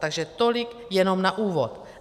Takže tolik jenom na úvod.